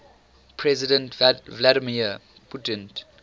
president vladimir putin